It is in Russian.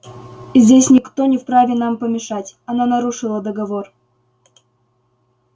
здесь никто не вправе нам помешать она нарушила договор